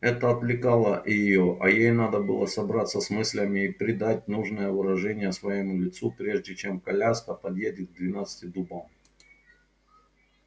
это отвлекало её а ей надо было собраться с мыслями и придать нужное выражение своему лицу прежде чем коляска подъедет к двенадцати дубам